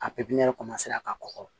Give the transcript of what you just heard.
A pipiɲɛri ka kɔgɔ